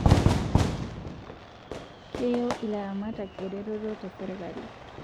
Keyieu ilaramatak ereteto te serkali